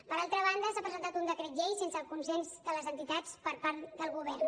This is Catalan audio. per altra banda s’ha presentat un decret llei sense el consens de les entitats per part del govern